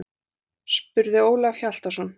spurði Ólafur Hjaltason.